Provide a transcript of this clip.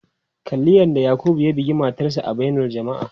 Kalli yadda Yakubu ya bugi matarsa ​​a bainar jama'a.